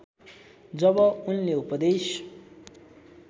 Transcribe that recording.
जब उनले उपदेश